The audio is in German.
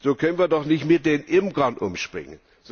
So können wir doch nicht mit den Imkern umspringen!